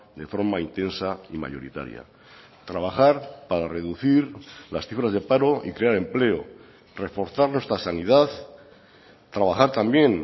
de forma intensa y mayoritaria trabajar para reducir las cifras de paro y crear empleo reforzar nuestra sanidad trabajar también